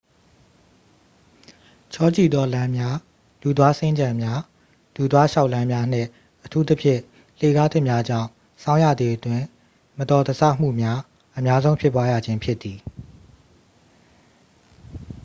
ချောကျိသော လမ်းများ၊ လူသွားစင်္ကြံများ လူသွားလျှောက်လမ်းများနှင့် အထူးသဖြင့် လှေကားထစ်များကြောင့် ဆောင်းရာသီအတွင်း မတော်တဆမှုများ အများဆုံးဖြစ်ပွားရခြင်းဖြစ်သည်။